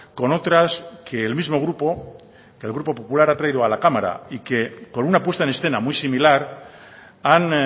con otras que el mismo grupo el grupo popular ha traído a la cámara y que con una puesta en escena muy similar han